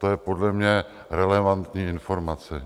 To je podle mě relevantní informace.